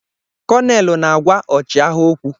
Konelu na-agwa ọchịagha okwu.